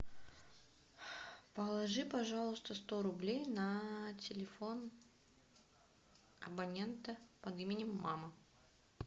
положи пожалуйста сто рублей на телефон абонента под именем мама